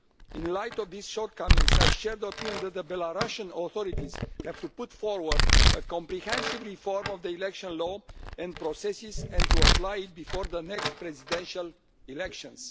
In light of these shortcomings, I share the opinion that the Belarusian authorities have to put forward a comprehensive reform of the election law and processes and to apply it before the next presidential elections.